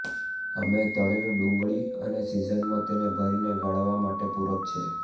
અમે તળેલું ડુંગળી અને સિઝનમાં તેને ભરીને ગાળવા માટે પૂરક છે